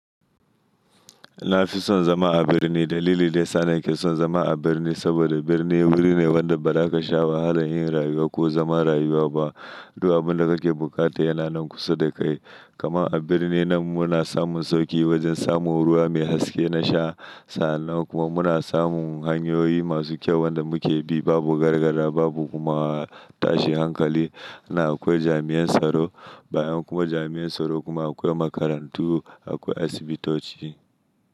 Na fi son zama a birni. Dalilin da yasa nake son zama a birni saboda birni wuri ne wanda ba za ka sha wahala yin rayuwa ko zama rayuwa ba. Duk abunda kake bukata yana nan kusa da kai. Kaman a birni nan muna samun sauki wajen samun ruwa mai haske na sha. Sa'an nan kuma muna samun hanyoyi masu kyau wanda mu ke bi. Babu gargada, babu kuma tashin hankali. Nan akwai jami'an tsaro bayan kuma jami'an tsaro kuma akwai makarantu, akwai asibitoci.